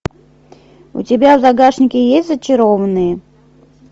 у тебя в загашнике есть зачарованные